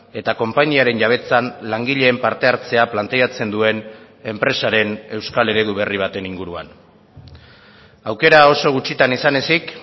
eta konpainiaren jabetzan langileen parte hartzea planteatzen duen enpresaren euskal eredu berri baten inguruan aukera oso gutxitan izan ezik